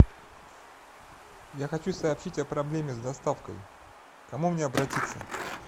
я хочу сообщить о проблеме с доставкой к кому мне обратиться